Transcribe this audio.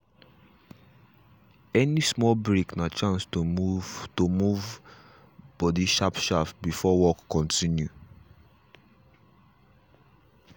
any small break na chance to move to move body sharp sharp before work continue.